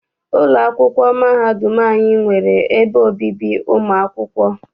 Ụlọ akwụkwọ mahadum anyị nwere ebe obibi ụmụ akwụkwọ.